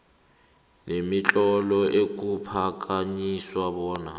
nemitlolo ekuphakanyiswa bona